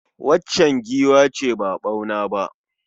Waccan giwa ce ba ɓauna ba.